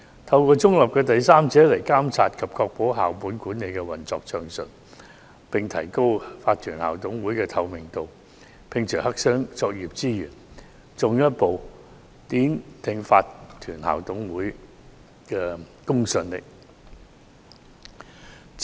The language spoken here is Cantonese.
透過中立的第三者來監察及確保校本管理運作暢順，並提高法團校董會的透明度，摒除黑箱作業之嫌，進一步奠定法團校董會的公信力。